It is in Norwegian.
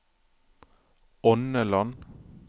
Ånneland